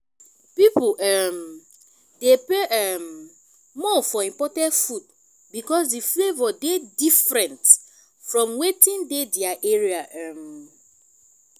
pipo um dey pay um more for imported food because di flavour dey differennt from weti dey their area um